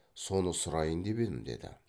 соны сұрайын деп едім деді